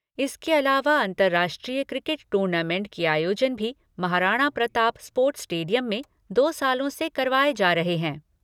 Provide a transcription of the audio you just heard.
इसके अलावा अंतरराष्ट्रीय क्रिकेट टूर्नामेण्ट के आयोजन भी महाराणा प्रताप स्पोर्ट्स स्टेडियम में दो सालों से करावाए जा रहे हैं।